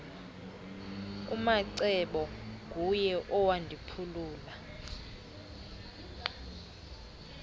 umacebo nguye owandiphulula